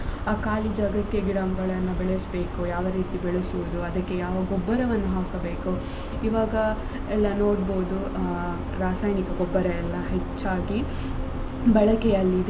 ಆ ಖಾಲಿ ಜಾಗಕ್ಕೆ ಗಿಡಗಳನ್ನ ಬೆಳೆಸ್ಬೇಕು ಯಾವ ರೀತಿ ಬೆಳೆಸುದು ಅದಿಕ್ಕೆ ಯಾವ ಗೊಬ್ಬರವನ್ನು ಹಾಕಬೇಕು ಇವಾಗ ಎಲ್ಲ ನೋಡಬೋದು ಆ ರಾಸಾಯನಿಕ ಗೊಬ್ಬರ ಎಲ್ಲ ಹೆಚ್ಚಾಗಿ ಬಳಕೆಯಲ್ಲಿದೆ.